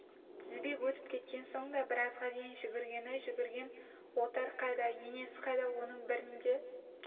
тізбек өтіп кеткен соң да біразға дейін жүгіргені жүгірген отар қайда енесі қайда оның бірін де